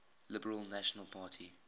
liberal national party